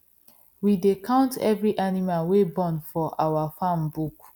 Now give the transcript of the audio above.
we dey count every animal wey born for our farm book